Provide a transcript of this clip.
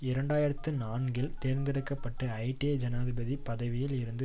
இரண்டு ஆயிரத்தி நான்கில் தேர்ந்தெடுக்க பட்ட ஹைய்ட்டிய ஜனாதிபதி பதவியில் இருந்து